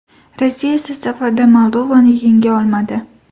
Rossiya esa safarda Moldovani yenga olmadi.